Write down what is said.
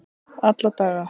alla daga